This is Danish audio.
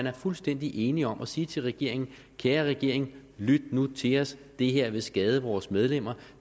er fuldstændig enige om at sige til regeringen kære regering lyt nu til os det her vil skade vores medlemmer